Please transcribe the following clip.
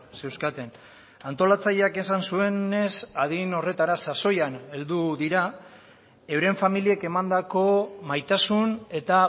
zeuzkaten antolatzaileak esan zuenez adin horretara sasoian heldu dira euren familiek emandako maitasun eta